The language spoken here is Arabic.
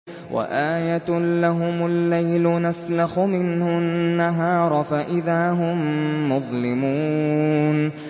وَآيَةٌ لَّهُمُ اللَّيْلُ نَسْلَخُ مِنْهُ النَّهَارَ فَإِذَا هُم مُّظْلِمُونَ